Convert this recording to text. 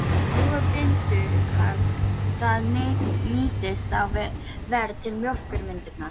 Flúor bindur kalk, það nýtist þá verr til mjólkurmyndunar.